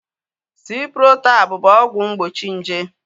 Ciprotab bụ ọgwụ mgbochi nje